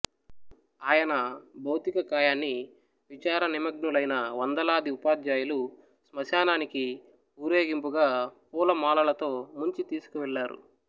ఆయన భౌతికకాయాన్ని విచార నిమగ్నులైన వందలాది ఉపాధ్యాయులు శ్మశానానికి ఊరేగింపుగా పూలమాలతో ముంచి తీసుకువెళ్ళారు